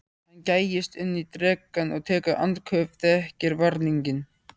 Hann gægist inn í drekann og tekur andköf, þekkir varninginn.